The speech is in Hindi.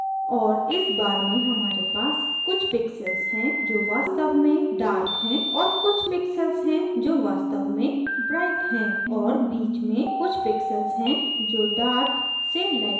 और इस bar में हमारे पास कुछ pixels हैं जो वास्तव में dark हैं और कुछ pixels हैं जो वास्तव में bright हैं और बीच में कुछ pixels हैं जो dark से light की ओर हैं